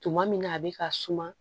Tuma min na a bɛ ka suma